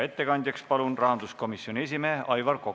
Ettekandjaks palun rahanduskomisjoni esimehe Aivar Koka.